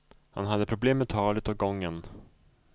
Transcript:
Han hade problem med talet och gången.